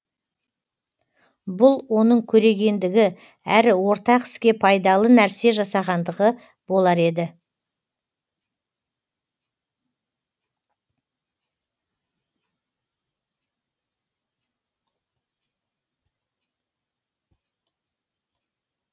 бұл оның көрегендігі әрі ортақ іске пайдалы нәрсе жасағандығы болар еді